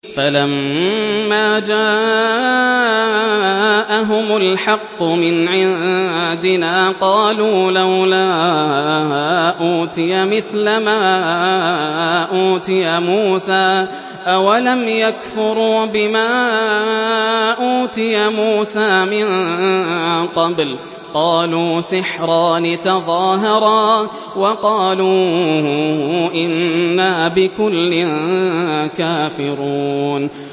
فَلَمَّا جَاءَهُمُ الْحَقُّ مِنْ عِندِنَا قَالُوا لَوْلَا أُوتِيَ مِثْلَ مَا أُوتِيَ مُوسَىٰ ۚ أَوَلَمْ يَكْفُرُوا بِمَا أُوتِيَ مُوسَىٰ مِن قَبْلُ ۖ قَالُوا سِحْرَانِ تَظَاهَرَا وَقَالُوا إِنَّا بِكُلٍّ كَافِرُونَ